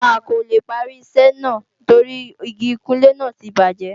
A kò lè parí iṣẹ́ náà torí Igi ìkunlé náà ti bàjẹ́